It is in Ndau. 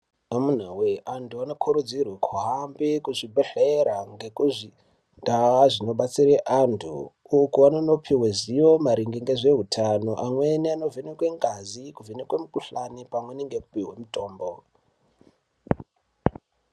Amunawee, antu anokurudzirwe kuhambe kuzvibhedhlera nekuzvindau zvinodetsera antu iyo kwevanonopiwa zivo maererano nehutano, amweni anovhenekwa ngazi, kuvhenekwe mikhuhlane pamwe nekupiwe mitombo.